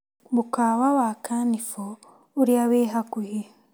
Mũkawa wa Kanibo ũrĩa wĩ hakuhĩ .